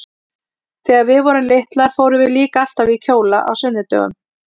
Þegar við vorum litlar fórum við líka alltaf í kjóla á sunnudögum.